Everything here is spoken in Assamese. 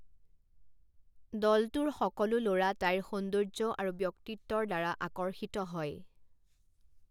দলটোৰ সকলো ল'ৰা তাইৰ সৌন্দৰ্য্য আৰু ব্যক্তিত্বৰ দ্বাৰা আকৰ্ষিত হয়।